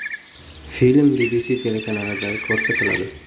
Film BBC telekanalida ko‘rsatiladi.